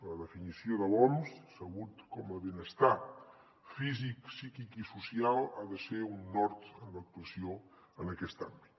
la definició de l’oms salut com a benestar físic psíquic i social ha de ser un nord en l’actuació en aquest àmbit